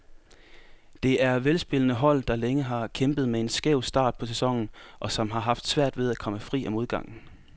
Det er velspillende hold, der længe har kæmpet med en skæv start på sæsonen, og som har haft svært ved at komme fri af modgangen.